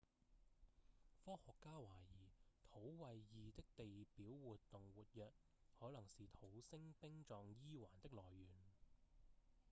科學家懷疑土衛二的地表活動活躍可能是土星冰狀 e 環的來源